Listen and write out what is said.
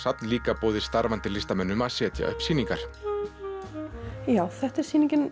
líka boðið starfandi listamönnum að setja upp sýningar þetta er sýningin